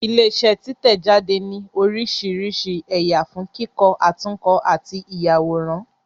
Ilé iṣẹ́ títẹ̀-jáde ní oríṣiríṣi ẹ̀yà fún kíkọ, àtúnkọ àti ìyàwòrán